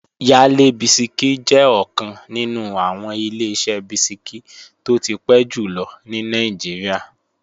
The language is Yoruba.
Yale bisikí jẹ́ ọ̀kan nínú àwọn Ileṣẹ́ bisikí tó ti pẹ́ jùlọ ní Nàìjíríà